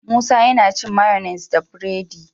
Musa yAna cin mayonnaise da buredi